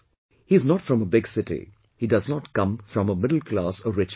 He is not from a big city, he does not come from a middle class or rich family